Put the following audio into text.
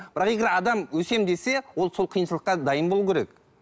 бірақ егер адам өсемін десе ол сол қиыншылыққа дайын болу керек